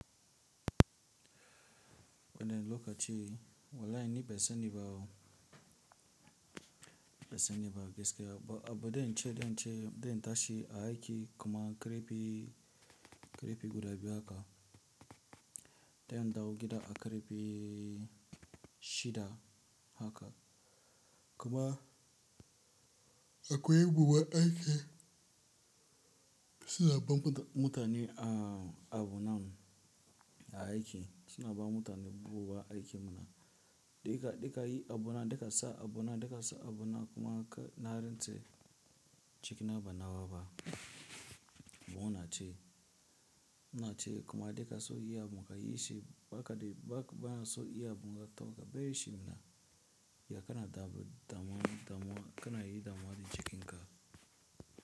Bana lokaci wallahi ni ɓan sani bawo, ɓan sani ba gaskiya ba, abu da in ce, da in ce, da in tashi a aiki kuma karfe, karfe guda biyu haka. Da in dawo gida a karfe shida haka. Kuma akwai buguwa aiki suna ban mutane a abunan aiki suna ba mutane buguwa aiki muna. Duka, duka yi abu na, duka sa abu na, duka sa abu na kuma ka na rantse cikin abu na waba. Bana ce, ina ce kuma duka sun iya buga yi shi ba kaɗai ba ka ba so iya buga to abar shi muna ya kana damu, damuwa, damuwa, kana yi damuwa da cikin ka.